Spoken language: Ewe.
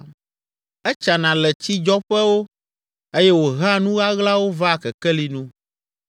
Etsana le tsidzɔƒewo eye wòhea nu ɣaɣlawo vaa kekeli nu.